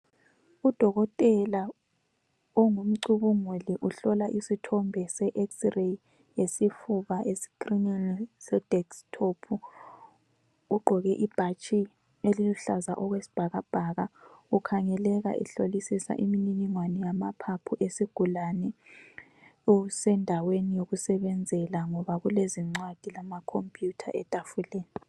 Udokotela omgumcubunguli uhlola isithombe se xreyi yesifuba esikrinini se deskithophu, ugqoke ibhatshi eliluhlaza okwesibhakabhaka ukhangeleka ehlolisisa imniningwane yamaphaphu esigulane usendaweni yokusebenzela ngoba kulezincwadi lamakhomphuyutha etafuleni.